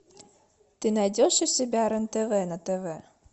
ты найдешь у себя рен тв на тв